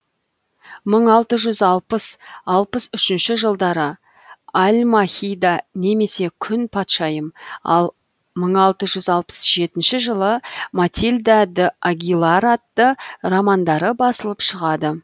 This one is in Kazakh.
мың алты эүз алпыс алпыс үшінші жылдары альмахида немесе күң патшайым ал мың алты жүз алпыс жетінші жылы матильда д агилар атты романдары басылып шығады